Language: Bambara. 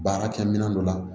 Baarakɛ minɛn dɔ la